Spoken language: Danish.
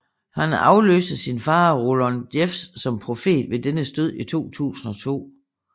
Han afløste sin far Rulon Jeffs som profet ved dennes død i 2002